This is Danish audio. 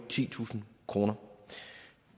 titusind kroner